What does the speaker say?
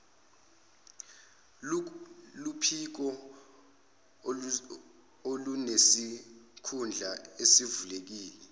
luphiko olunesikhundla esivulekile